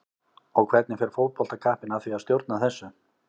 Og hvernig fer fótboltakappinn að því að stjórna þessu?